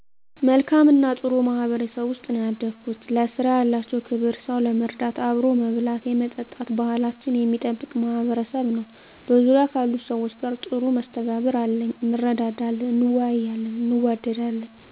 መልካም እና ጥሩ ማህበረሰብ ውስጥ ነው ያደኩት። ለስራ ያላቸው ክብር ሰው ለመርዳት አብሮ መብላት የመጠጣት ባሕላችንን የሚጠብቅ ማሕበረሰብ ነው። በዙርያ ካሉት ሰዎች ጋር ጥሩ መስተጋብር አለኚ እንረዳዳለን እንወያያለን እንዋደዳለን።